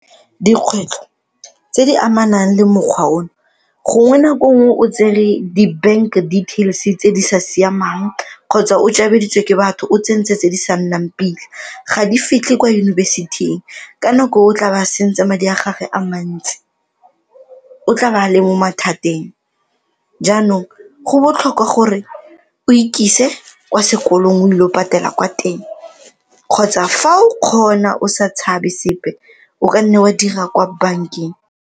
Dikgwetlho tse di amanang le mokgwa o, gongwe nako nngwe o tsere di-bank details tse di sa siamang kgotsa o ke batho o tsentse tse di sa nnang pila ga di fitlhe kwa yunibesithing ka nako o tla be a sentse madi a gage a mantsi, o tla be a le mo mathateng. Jaanong, go botlhokwa gore o ikise kwa sekolong o ile go patela kwa teng kgotsa fa o kgona o sa tshabe sepe o ka nne wa dira kwa bankeng.